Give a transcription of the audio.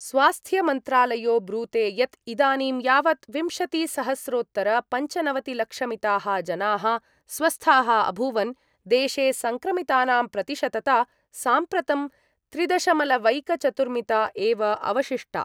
स्वास्थ्यमन्त्रालयो ब्रूते यत् इदानीं यावत् विंशतिसहस्रोत्तरपञ्चनवतिलक्षमिताः जनाः स्वस्थाः अभूवन् देशे सङ्क्रमितानां प्रतिशतता साम्प्रतं त्रिदशमलवैकचतुर्मिता एव अवशिष्टा।